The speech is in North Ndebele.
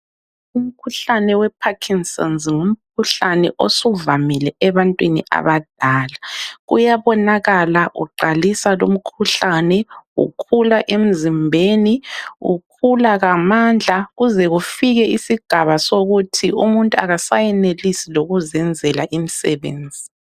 Umkhuhlane weParkinsons ngumkhuhlane osuvamile ebantwini abadala . Uyabonakala uqalisa lumkhuhlane ,ukhula emzimbeni ukhula ngamandla kuze kufike isigaba sokuthi umuntu akasayenelisi lokuzenzela imisebenzi.